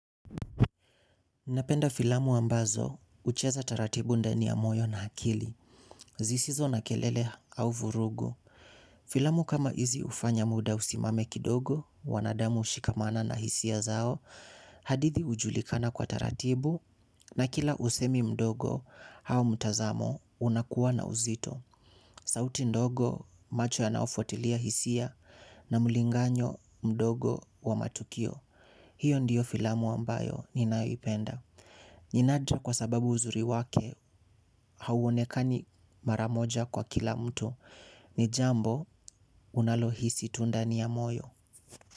Napenda filamu ambazo hucheza taratibu ndani ya moyo na akili. Zisizo na kelele au vurugu. Filamu kama hizi hufanya muda usimame kidogo, wanadamu hushikamana na hisia zao. Hadithi hujulikana kwa taratibu na kila usemi mdogo au mtazamo unakuwa na uzito. Sauti ndogo macho yanaofuatilia hisia na mlinganyo mdogo wa matukio. Hiyo ndiyo filamu ambayo ninayoipenda. Ninaja kwa sababu uzuri wake hauonekani mara moja kwa kila mtu. Ni jambo unalohisi tu ndani ya moyo.